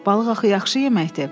Balıq axı yaxşı yeməkdir.